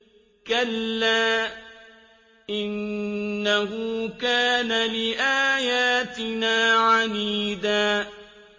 كَلَّا ۖ إِنَّهُ كَانَ لِآيَاتِنَا عَنِيدًا